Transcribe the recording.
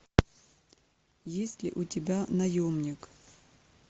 есть ли у тебя наемник